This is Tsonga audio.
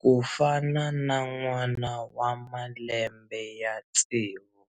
ku fana na n'wana wa malembe ya tsevu.